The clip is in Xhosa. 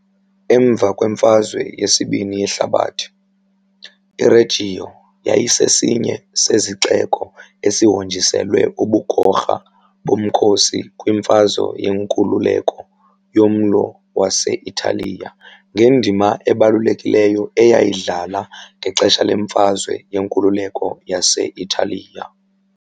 Emva kweMfazwe yesibini yeHlabathi, iReggio yayisesinye sezixeko ezihonjiselwe ubugorha bomkhosi kwimfazwe yenkululeko yoMlo wase-Italiya ngendima ebalulekileyo eyayidlala ngexesha lemfazwe yenkululeko yase-Italiya .